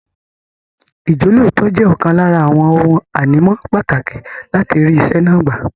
Ìjọ́lóòótọ́ jẹ́ ọ̀kan lára àwọn ohun ànímọ́ pàtàkì láti rí iṣẹ́ náà gbà.